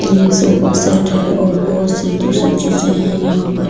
ये super set है और बहुत से दूसरी चीजें हैं यहां पर --